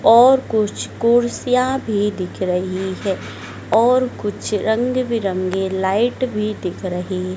और कुछ कुर्सियां भी दिख रही हैं और कुछ रंग बिरंगे लाइट भी दिख रही--